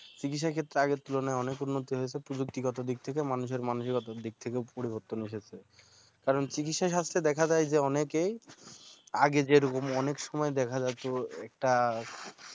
চিকিৎসা ক্ষেত্রে আগের তুলনায় অনেক উন্নতি হয়েছে প্রযুক্তিগত দিক থেকে মানুষের মানসিকতার দিক থেকে পরিবর্তন এসেছে কারণ চিকিৎসা শাস্ত্রে দেখা যায় যে অনেকেই আগে যে রকম অনেক সময়ে দেখা যেত একটা